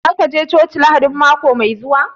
Shin za ka je coci Lahadin mako mai zuwa